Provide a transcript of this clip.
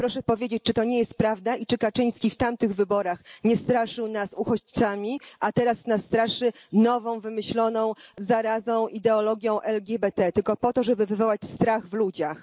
Proszę powiedzieć, czy to nie jest prawda i czy Kaczyński w tamtych wyborach nie straszył nas uchodźcami, a teraz nas straszy nową wymyśloną zarazą ideologią LGBT tylko po to, żeby wywołać strach w ludziach?